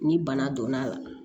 Ni bana donna a la